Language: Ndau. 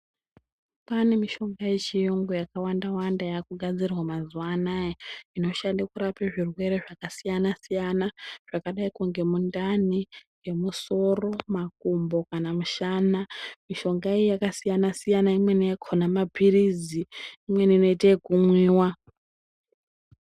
Pane mishonga yechiyungu yakawandawanda yakugadzirwa mazuwa anaya inoshande kurape zvirwere zvakasiyanasiyana zvakadaiko ngemundani, ngemusoro, makumbo kana mushana mishonga iyi yakasiyanasiyana imweni yakona mapilizi imweni yakona inote yekumwiwa.